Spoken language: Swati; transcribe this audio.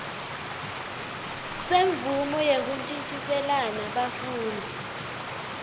semvumo yekuntjintjiselana bafundzi